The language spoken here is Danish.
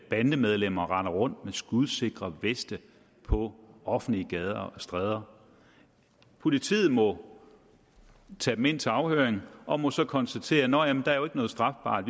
bandemedlemmer render rundt med skudsikre veste på offentlige gader og stræder politiet må tage dem ind til afhøring og må så konstatere nå jamen der er jo ikke noget strafbart